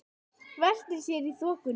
Veltir sér í þokunni.